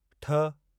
ठ